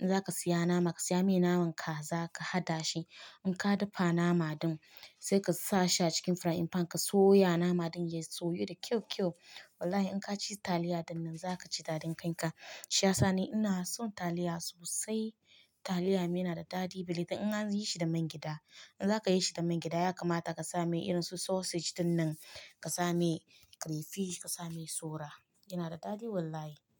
In za ka siya nama, ka siya mai naman kaza ka haɗa shi. In ka dafa nama din sai ka sa shi a cikin frying pan ka soya nama din ya soyu da kyau kyau. Wallahi in ka ci taliya dinnan za ka ji daɗin kan ka. Shi yasa ni ina son taliya sosai. Taliya me yana da daɗi bili. Dan in zan yi shi da man gyada. In za ka yi shi da man gyada ya kamata ka sa mai irin su sausage dinnan, ka sa mai crayfish, ka sa mai sora. Yana da daɗi wallahi.